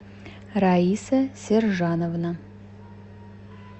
раиса сержановна